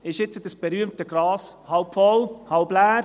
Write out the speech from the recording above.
Ist das berühmte Glas nun halb voll oder halb leer?